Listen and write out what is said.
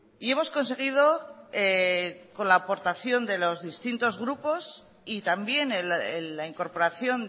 y hemos conseguido con la aportación de los distintos grupos y también la incorporación